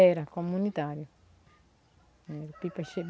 Era comunitário. Era pipa chega